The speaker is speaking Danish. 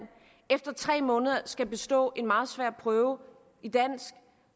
efter tre måneder skal bestå en meget svær prøve i dansk